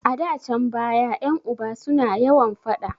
A da can baya ƴan uba su na yawan faɗa